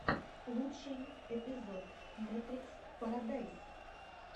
лучший эпизод мэтрикс парадайс